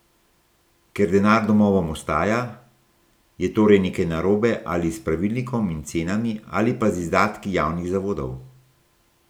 Ker denar domovom ostaja, je torej nekaj narobe ali s pravilnikom in cenami ali pa z izdatki javnih zavodov.